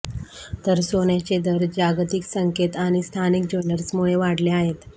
तर सोन्याचे दर जागतिक संकेत आणि स्थानिक ज्वेलर्समुळे वाढले आहेत